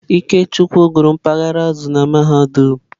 Ikechukwu gụrụ mpaghara azụ̀ na mahadum.